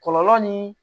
Kɔlɔlɔ ni